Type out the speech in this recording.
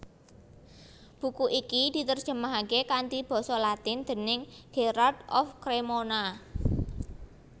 Buku iki diterjemahake kanthi basa latin déning Gherard of Cremona